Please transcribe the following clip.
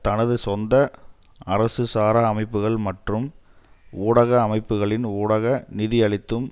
தனது சொந்த அரசுசாரா அமைப்புக்கள் மற்றும் ஊடக அமைப்புகளின் ஊடாக நிதியளித்தும்